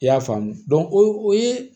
I y'a faamu o ye